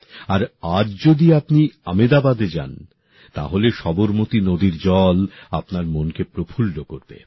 আর আজ যদি আপনি আমেদাবাদ যান তাহলে সবরমতী নদীর জল আপনার মনকে প্রফুল্ল করবে